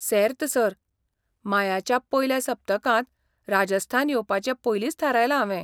सेर्त, sir. मायाच्या पयल्या सप्तकांत राजस्थान येवपाचें पयलींच थारायलां हावें.